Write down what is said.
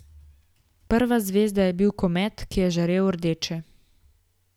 Prva zvezda je bil komet, ki je žarel rdeče.